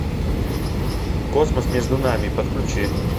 космос между нами подключи